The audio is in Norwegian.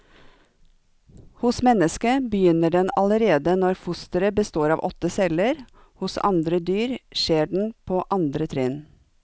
Hos mennesket begynner den allerede når fosteret består av åtte celler, hos andre dyr skjer den på andre trinn.